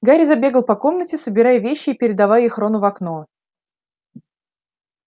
гарри забегал по комнате собирая вещи и передавая их рону в окно